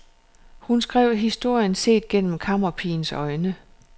Hun skrev historien set gennem kammerpigens øjne.